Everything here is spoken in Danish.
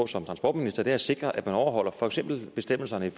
som transportminister er at sikre at man overholder for eksempel bestemmelserne